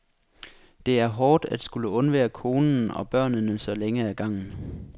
Det er hårdt at skulle undvære konen og børnene så længe ad gangen.